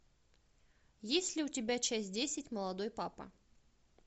есть ли у тебя часть десять молодой папа